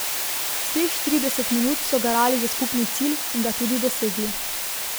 Vseh štirideset minut so garali za skupni cilj in ga tudi dosegli.